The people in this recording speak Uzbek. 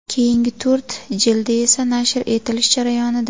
Keyingi to‘rt jildi esa nashr etilish jarayonida.